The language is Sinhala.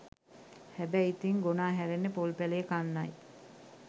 හැබැයි ඉතිං ගොනා හැරෙන්නෙ පොල් පැළය කන්නයි